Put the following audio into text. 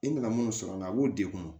I nana mun sɔrɔ a la a b'o dekun